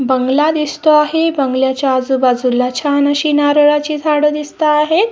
बंगला दिसतो आहे बंगल्याच्या आजूबाजूला छान अशी नारळाची झाड दिसता आहे.